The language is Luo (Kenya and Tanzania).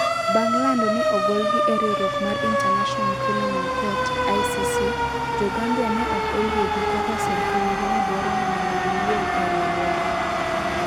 Bang ' lando ni ogolgi e riwruok mar International Criminal Court (ICC), Jo - Gambia ne ok oyie gi kaka sirkandgi ne dwaro ni mondo giwuog e riwruogno.